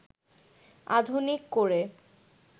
আধুনিক করে